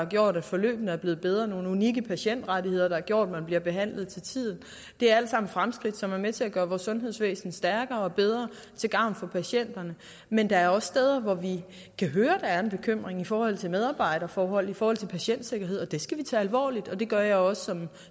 gjort at forløbene er blevet bedre og nogle unikke patientrettigheder der har gjort at man bliver behandlet til tiden det er alt sammen fremskridt som er med til at gøre vores sundhedsvæsen stærkere og bedre til gavn for patienterne men der er også steder hvor vi kan høre at der er en bekymring i forhold til medarbejderforhold og i forhold til patientsikkerhed det skal vi tage alvorligt og det gør jeg også